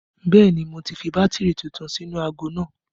Bẹẹ ni, mo ti fi bátìrì tuntun sínú aago náà